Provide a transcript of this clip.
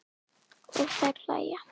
Og þær hlæja.